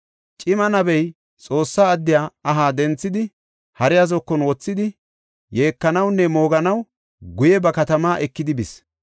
Cima nabey Xoossa addiya aha denthidi, hariya zokon wothidi, yeekanawunne mooganaw guye ba katama ekidi bis.